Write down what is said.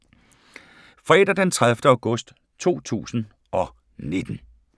Fredag d. 30. august 2019